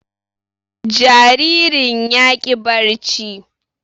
Jaririn ya ƙi barci